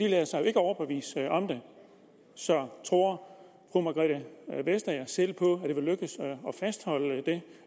lader sig jo ikke overbevise om det så tror fru margrethe vestager selv på lykkes at fastholde det